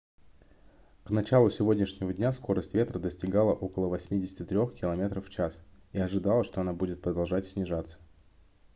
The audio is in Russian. к началу сегодняшнего дня скорость ветра достигала около 83 км/ч и ожидалось что она будет продолжать снижаться